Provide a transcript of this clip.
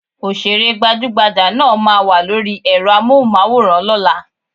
Òṣèré gbajúgbajà náà ma wà lóri ẹ́rọ Amóhùnmáwòrán lọ́la.